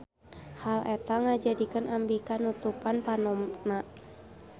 Hal eta ngajadikeun Ambika nutupan panonna.